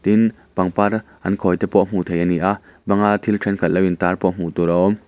tin pangpar an khawi te pawh hmuh theih a ni a bang a thil thenkhat lo in tar pawh hmuh tur a awm.